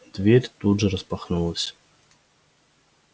дверь тут же распахнулась